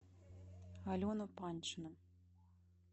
алену паньшину